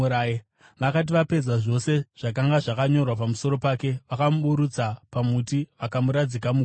Vakati vapedza zvose zvakanga zvakanyorwa pamusoro pake, vakamuburutsa pamuti vakamuradzika muguva.